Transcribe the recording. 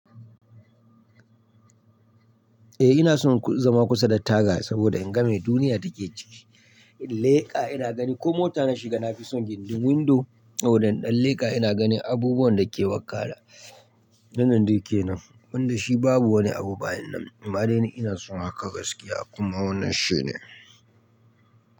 Eh ina son zama kusa da taga saboda in ga me duniya take ciki. In leka ina gani ko mota na shiga, na fi son gindin windo. Saboda in ɗan leka ina ganin abubuwan da ke wakana. Wannan duk yana, wanda shi babu wani abu bayanan. Amma dai ni ina son haka gaskiya kuma wannan shine.